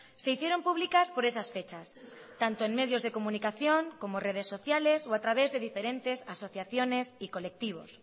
se hicieron públicas por esas fechas tanto en medios de comunicación como redes sociales o a través de diferentes asociaciones y colectivos